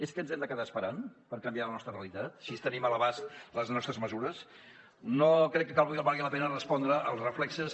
és que ens hem de quedar esperant per canviar la nostra realitat si tenim a l’abast les nostres mesures no crec que valgui la pena respondre als reflexos